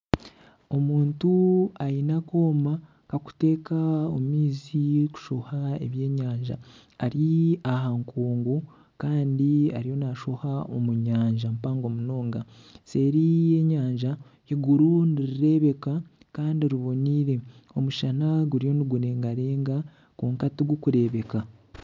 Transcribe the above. Omuntu aine akooma akarikuteeka omu maizi kushoha ebyenyanja, ari aha nkungu Kandi ariyo nashoha omu nyanja mpango munonga seeri y'enyanja eiguru nirirebeka Kandi riboneire ,omushana guriyo nigurengarenga kwonka tigurikureebeka.